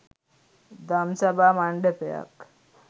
දම්සභා මණ්ඩපයක්